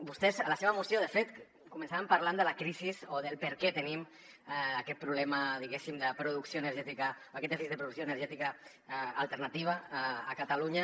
vostès a la seva moció de fet començaven parlant de la crisi o de per què tenim aquest problema diguéssim de producció energètica o aquest dèficit de producció energètica alternativa a catalunya